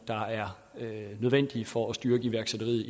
der er nødvendige for at styrke iværksætteriet